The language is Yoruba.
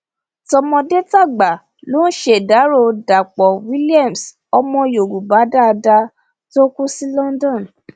tọmọdétàgbà ló ń ṣèdàrọ dapò williams ọmọ yorùbá dáadáa tó kù sí london